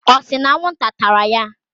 n ata ya?